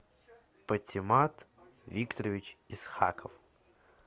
патимат викторович исхаков